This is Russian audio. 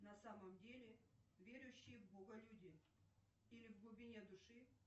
на самом деле верующие в бога люди или в глубине души